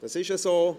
– Das ist so.